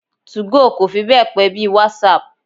Two-go kò fi be pe bí í WhatsApp.